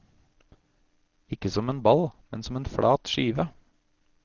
Ikke som en ball, men som en flat skive.